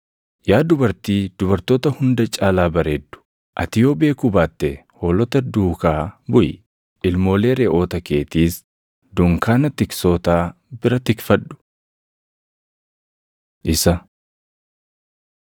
Yaa dubartii dubartoota hunda caalaa bareeddu, ati yoo beekuu baatte hoolota duukaa buʼi; ilmoolee reʼoota keetiis dunkaana tiksootaa bira tikfadhu. Isa